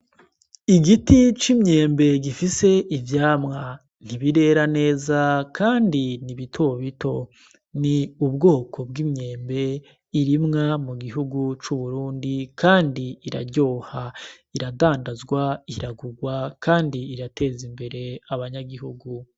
Igiti c'imyembe gifise ivyamwa, ntibirera neza kandi ni bito bito, ni ubwoko bw'imyembe irimwa mugihugu c'Uburundi kandi iraryoha, iradandazwa ,iragurwa kandi irateza imbere abanyagihugu.